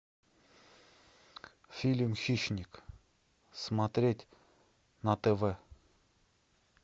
фильм хищник смотреть на тв